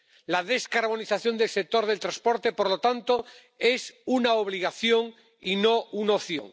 La descarbonización del sector del transporte, por lo tanto, es una obligación, y no una opción.